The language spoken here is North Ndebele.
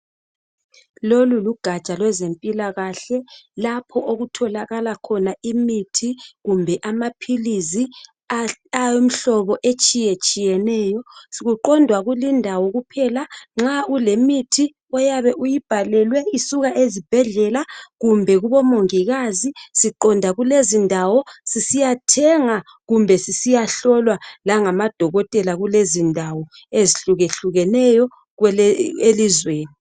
Lolu lugatsha lwezempilakahle lapho okutholakala khona imithi kumbe amaphilisi awemhlobo etshiyetshiyeneyo .Kuqondwa kulindawo kuphela nxa ulemithi oyabe uyibhalelwe isuka ezibhedlela kumbe kubomongikazi .Siqonda kulezindawo sisiyathenga kumbe sisiyahlolwa langamadokotela kulezindawo ezihlukehlukeneyo elizweni